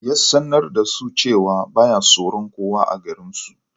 Ya sanar da su cewa ba ya tsoron kowa a garinsu